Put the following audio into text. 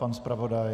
Pan zpravodaj?